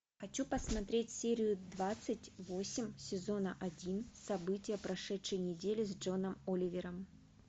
хочу посмотреть серию двадцать восемь сезона один события прошедшей недели с джоном оливером